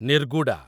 ନିର୍ଗୁଡା